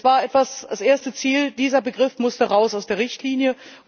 Denn das war das erste Ziel Dieser Begriff musste raus aus der Richtlinie.